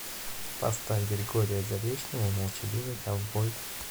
поставь григория заречного молчаливый ковбой